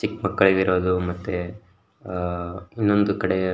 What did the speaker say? ಚಿಕ್ಕ್ ಮಕ್ಕಳಿಗಿರೋದು ಮತ್ತೆ ಆಹ್ಹ್ ಇನ್ನೊಂದು ಕಡೆ --